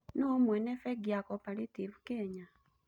Nũũ mwene bengi ya Cooperative Kenya?